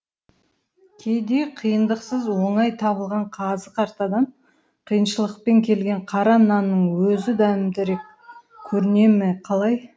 кейде қиындықсыз оңай табылған қазы қартадан қиыншылықпен келген қара нанның өзі дәмдірек көріне ме қалай